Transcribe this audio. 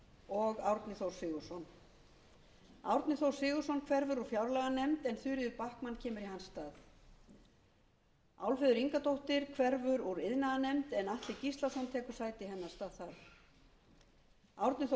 og árni þór sigurðsson árni þór sigurðsson hverfur úr fjárlaganefnd en þuríður backman kemur í hans stað álfheiður ingadóttir hverfur úr iðnaðarnefnd en atli gíslasonar tekur sæti hennar þar árni þór